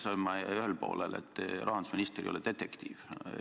Sellega sain ma ühele poole, et rahandusminister ei ole detektiiv.